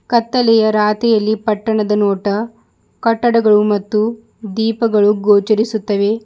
ಕತ್ತಲೆಯ ರಾತಿಯಲ್ಲಿ ಪಟ್ಟಣದ ನೋಟ ಕಟ್ಟಡಗಳು ಮತ್ತು ದೀಪ ಗೋಚರಿಸುತ್ತವೆ.